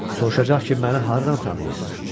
Sorulacaq ki, məni hardan tanıyırsız?